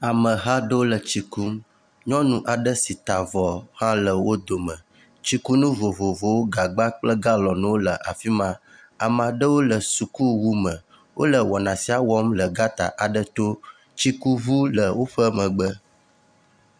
Ameha aɖewo le tsikum. Nyɔnu aɖe si ta avɔ hã le wo dome. Tsikunu vovovowo gagba kple galɔnwo le afi ma. Ame aɖewo le sukuwu me. Wo le wɔna sia wɔm le gɔta aɖe to. Tsikuŋu le woƒe megbe.